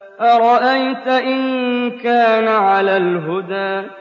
أَرَأَيْتَ إِن كَانَ عَلَى الْهُدَىٰ